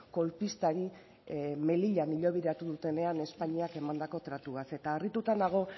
kolpistari melillan hilobiratu dutenean espainiak emandako tratuaz eta harrituta nago